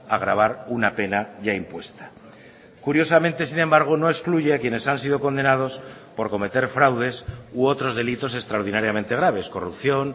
agravar una pena ya impuesta curiosamente sin embargo no excluye a quienes han sido condenados por cometer fraudes u otros delitos extraordinariamente graves corrupción